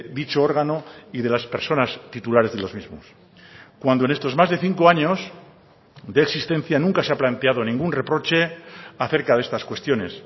dicho órgano y de las personas titulares de los mismos cuando en estos más de cinco años de existencia nunca se ha planteado ningún reproche acerca de estas cuestiones